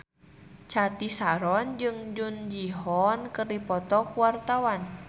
Cathy Sharon jeung Jung Ji Hoon keur dipoto ku wartawan